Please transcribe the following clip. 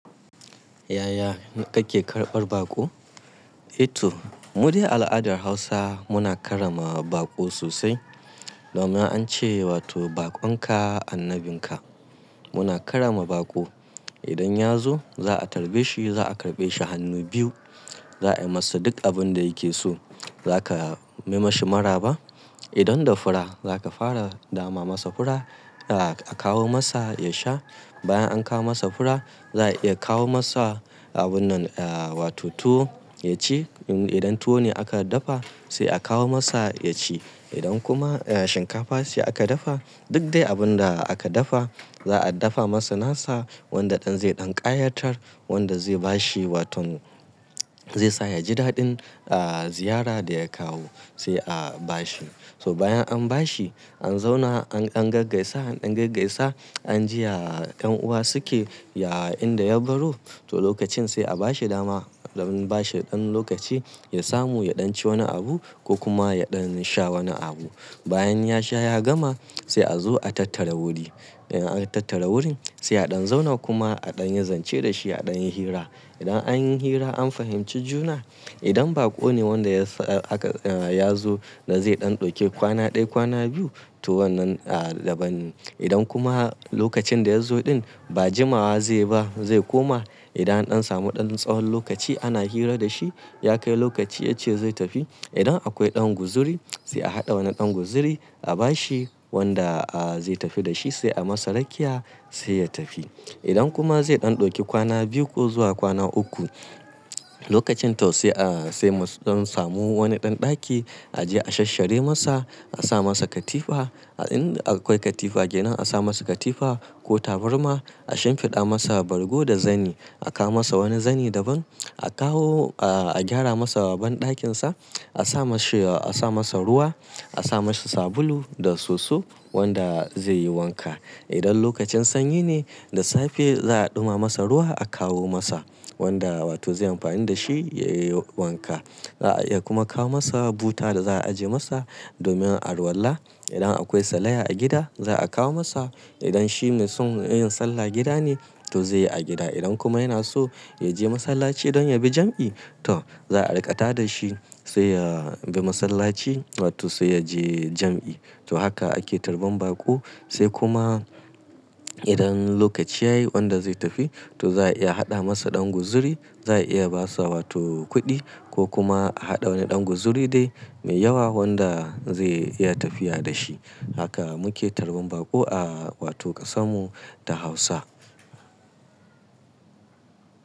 Yaya kake karɓar baƙo? Eh to, mu dai al'adar Hausa muna karrama baƙo sosai. Domin an ce wato baƙon ka annabin ka. Muna karrama baƙo. Idan ya zo za a tarbe shi, za a karɓe shi hannu biyu, za a yi masa duk abin da yake so. Zaka yi mashi maraba. Idan da fura, zaka fara dama masa fura, a kawo masa ya sha. Bayan an kawo masa fura, za a iya kawo masa abun nan wato tuwo ya ci. Idan tuwo ne aka dafa sai a kawo masa ya ci. Idan kuma shinkafa ce aka dafa, duk dai abin da aka dafa za a dafa masa nasa wanda ɗan zai ɗan ƙayatar, wanda zai ba shi waton zai sa ya ji daɗin eh ziyara da ya kawo sai a ba shi. So bayan an ba shi, an zauna an, an gaggaisa an gaggaisa an ji ya yan uwa suke, ya inda ya baro. To lokacin sai a ba shi dama, don ba shi ɗan lokaci ya samu ya ɗan ci wani abu ko kuma ya ɗan sha wani abu. Bayan ya sha ya gama sai a zo a tattara wuri. Idan an tattara wurin sai a ɗan zauna kuma a ɗan yi zance da shi, a ɗan yi hira. Idan an yi hira an fahimci juna, idan baƙo ne wanda ya sa aka, ya zo da zai ɗan ɗauki kwana ɗaya kwana biyu to wannan daban ne. Idan kuma lokacin da ya zo ɗin ba jimawa zai ba zai koma, idan ɗan samu ɗan tsawon lokaci ana hira da shi, ya kai lokaci ya ce zai tafi. Idan akwai ɗan guzuri sai a haɗa wani ɗan guzuri a ba shi wanda zai tafi da shi sai a masa rakiya sai ya tafi. Idan kuma zai ɗan ɗauki kwana biyu ko zuwa kwana uku, lokacin tau sai a, sai don samu wani ɗan ɗaki a je a sashshare masa, a sa masa katifa. In akwai katifa gidanin a sa masa katifa ko tabarma, a shimfiɗa masa bargo da zani. A kawo masa wani zani daban. A kawo a gyara masa ban ɗakin sa. A sa mashi, a sa masa ruwa, a sa mashi sabulu da soso wanda zai yi wanka. Idan lokacin sanyi ne, da safe za a ɗuma masa ruwa a kawo masa wanda wato zai amfani da shi ya yi wanka. Za a iya kuma kawo masa buta da za a ajiye masa domin alwalla. Idan akwai salaya a gida za a kawo masa. Idan shi me son yin sallah gida ne to zai yi a gida. Idan kuma yana so ya je masallaci don ya bi jam'i to za a riƙa tada shi sai ya bi masallaci wato sai ya je jam'i. To haka ake tarban baƙo. Sai kuma idan lokaci yayi wanda zai tafi to za a iya haɗa masa ɗan guzuri, za a iya basa wato kuɗi ko kuma a haɗa wani ɗan guzuri dai mai yawa wanda zai iya tafiya da shi. Haka muke tarban baƙo a wato ƙasan mu da Hausa.